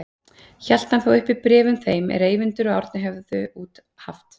Hélt hann þá upp bréfum þeim er þeir Eyvindur og Árni höfðu út haft.